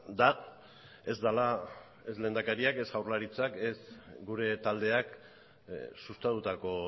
da ez dela ez lehendakariak ez jaurlaritzak ez gure taldeak sustatutako